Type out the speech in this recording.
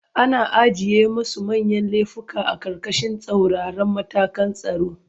Ana ajiye masu manyan lefuka a ƙarƙashin tsauraran matakan tsaro.